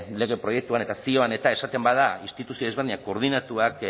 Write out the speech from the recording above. lege proiektuan eta zioan eta esaten bada instituzio desberdinak koordinatuak